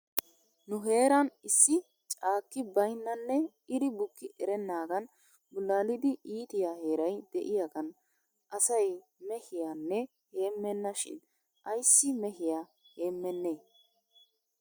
Nu heeran issi caakki baynnaanne iray bukki erennaagan bulaalidi iittiyaa heeray de'iyaagan asay mehiyaanne heemmenna shin ayssi mehiyaa heemmennee ?